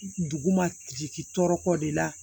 Dugu ma jigin tɔɔrɔ ko de la